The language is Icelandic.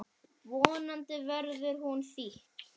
Vonandi verður hún þýdd.